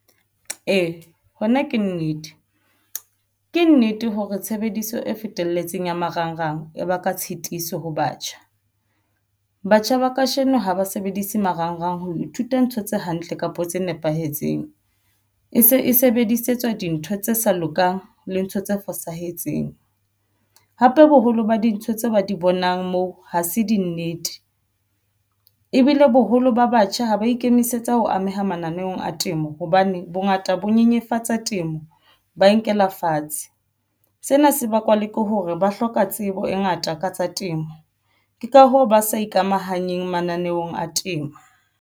Ee, hona ke nnete ke nnete hore tshebediso e fetelletseng ya marangrang e baka tshitiso ho batjha. Batjha ba kajeno ha ba sebedise marangrang. Ho ithuta ntho tse hantle kapo tse nepahetseng e se e sebedisetswa dintho tse sa lokang le ntho tse fosahetseng. Hape, boholo ba dintho tse ba di bonang moo ha se dinnete ebile boholo ba batjha ha ba ikemisetsa ho ameha matla naneong a temo hobane bongata bo nyenyefatsa temo ba nkela fatshe. Sena se bakwa le ke hore ba hloka tsebo e ngata ka tsa temo ke ka hoo ba sa ikamahanyang mananeong a temo.